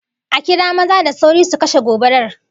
A kira maza da sauri su kashe gobarar!